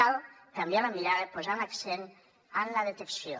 cal canviar la mirada posant l’accent en la detecció